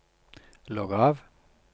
logg av